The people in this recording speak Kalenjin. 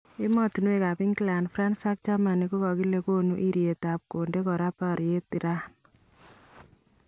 emotunwekab England, France ak Germany kokale konuu eeretya kondee koraa baryeet Iran